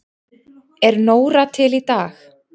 Er Nóra til í dag?